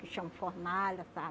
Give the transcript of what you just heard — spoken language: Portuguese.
Que chama fornalha, sabe?